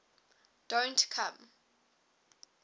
don t come